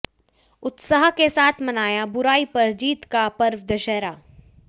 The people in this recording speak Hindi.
उत्साह के साथ मनाया बुराई पर जीत का पर्व दशहरा